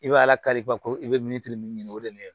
I bɛ ala kari ko i bɛ min ɲini o de ye